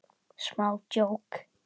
Smá djók.